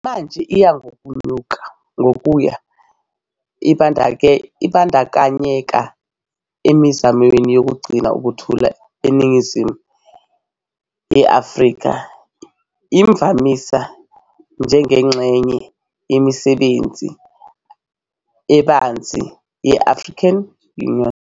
Manje iya ngokuya ibandakanyeka emizamweni yokugcina ukuthula eningizimu ye-Afrika, imvamisa njengengxenye yemisebenzi ebanzi ye-African Union.